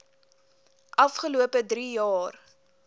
afgelope drie jaar